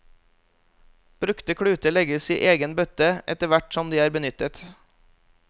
Brukte kluter legges i egen bøtte etterhvert som de er benyttet.